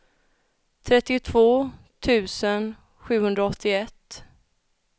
trettiotvå tusen sjuhundraåttioett